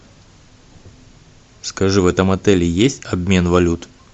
скажи в этом отеле есть обмен валют